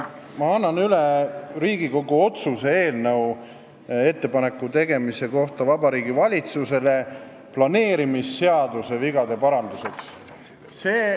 Ma annan üle Riigikogu otsuse eelnõu ettepaneku tegemise kohta Vabariigi Valitsusele planeerimisseaduse vigade parandamiseks.